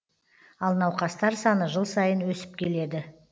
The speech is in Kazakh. ал науқастар саны жыл сайын өсіп келеді